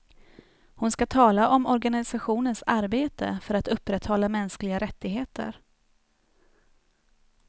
Hon ska tala om organisationens arbete för att upprätthålla mänskliga rättigheter.